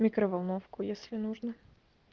микроволновку если нужно